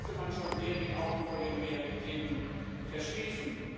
Da müsste man schon sehr die Augen vor den Realitäten verschließen.